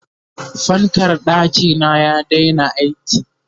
fankar ɗakina ya Daina aiki